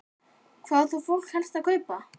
Jóhannes: Hvað er fólk þá helst að kaupa?